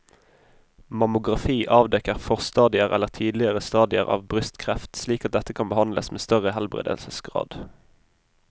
Mammografi avdekker forstadier eller tidlige stadier av brystkreft slik at dette kan behandles med større helbredelsesgrad.